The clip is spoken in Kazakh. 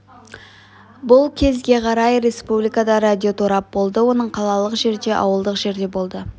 бұл кезге қарай республикада радиоторап болды оның қалалық жерде ауылдық жерде болды